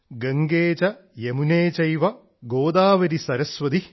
ഗംഗേ ച യമുനേ ചൈവ ഗോദാവരി സരസ്വതി